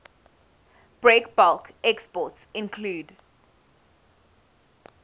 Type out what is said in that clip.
breakbulk exports include